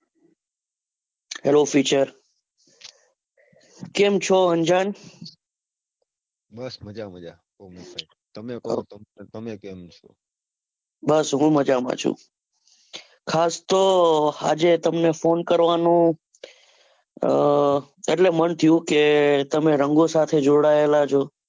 બસ હું મજામાં છું, હસતો આજે તમને ફોન કરવાનું હમ એટલે મને થયું કે તમે રંગો સાથે જોડાયેલા છો.